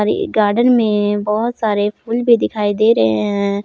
ये गार्डन में बहोत सारे फूल भी दिखाई दे रहे हैं।